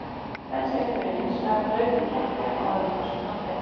Bensínið byrjar hins vegar að hlaupa í kekki áður en frostmarki er náð.